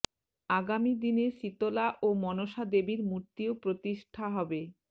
আগামী দিনে শীতলা ও মনসা দেবীর মূর্তিও প্রতিষ্ঠা হবে